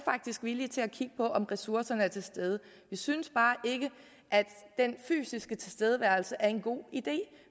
villige til at kigge på om ressourcerne er til stede vi synes bare ikke at den fysiske tilstedeværelse er en god idé